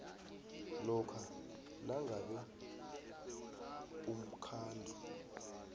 lokha nangabe umkhandlu